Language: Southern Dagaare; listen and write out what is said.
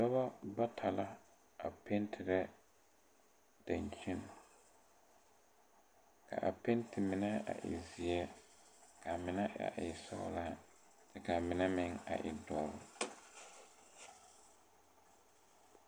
Dɔbɔ bata la a pentirɛ daŋkyini ka a penti mine a e zeɛ kaa mine a e sɔglaa kyɛ kaa mine meŋ a e dɔre.